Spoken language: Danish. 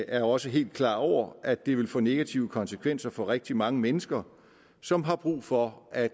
er også helt klar over at det vil få negative konsekvenser for rigtig mange mennesker som har brug for at